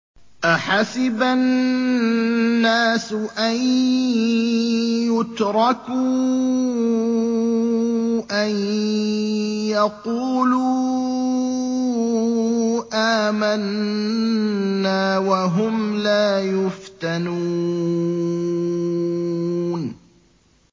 أَحَسِبَ النَّاسُ أَن يُتْرَكُوا أَن يَقُولُوا آمَنَّا وَهُمْ لَا يُفْتَنُونَ